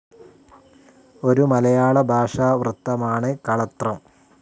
ഒരു മലയാള ഭാഷാ വൃത്തമാണ് കളത്രം.